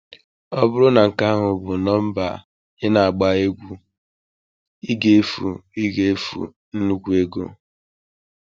Ọ bụrụ na nke ahụ bụ nọmba ị na-egwu, ị ga-efu ị ga-efu nnukwu ego.